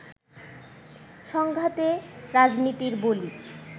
সংঘাতে রাজনীতির বলি